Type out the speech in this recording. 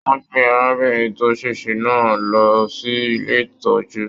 Wọn gbé arábìnrin tó sèsè náà lọ sí ilé ìtọjú.